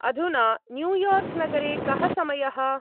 अधुना न्यूयार्क्-नगरे कः समयः?